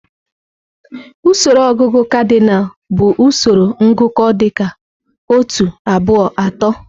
Usoro ọgụgụ kadịnal bụ usoro ngụkọ dị ka otu, abụọ, atọ.